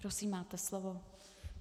Prosím, máte slovo.